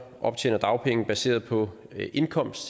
optjener dagpenge baseret på indkomst